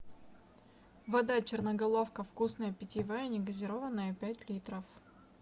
вода черноголовка вкусная питьевая негазированная пять литров